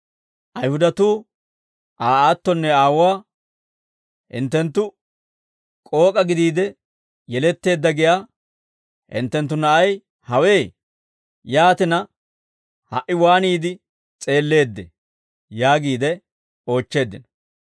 Ayihudatuu Aa aattonne aawuwaa, «Hinttenttu, ‹K'ook'a gidiide yeletteedda› giyaa hinttenttu na'ay hawe? Yaatina, ha"i waaniide s'eelleeddee?» yaagiide oochcheeddino.